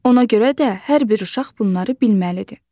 Ona görə də hər bir uşaq bunları bilməlidir.